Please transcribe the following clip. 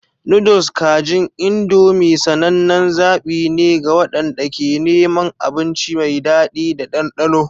Noodles kajin Indomie sanannen zaɓi ne ga waɗanda ke neman abinci mai daɗi da ɗanɗano.